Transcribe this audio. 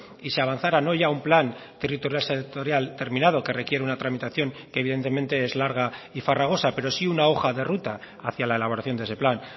y se avanzara no ya un plan territorial sectorial terminado que requiere una tramitación que evidentemente es larga y farragosa pero sí una hoja de ruta hacia la elaboración de ese plan